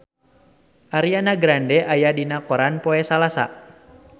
Ariana Grande aya dina koran poe Salasa